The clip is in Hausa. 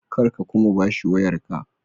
Kar ka kuma ba shi wayarka.